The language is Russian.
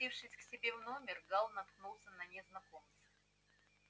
спустившись к себе в номер гаал наткнулся на незнакомца